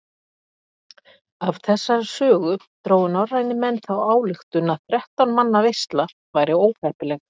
Af þessari sögu drógu norrænir menn þá ályktun að þrettán manna veisla væri óheppileg.